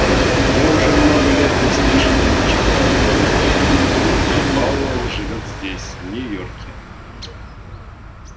я уже много лет не слышала ничего о доноване а пауэлл живёт здесь в нью-йорке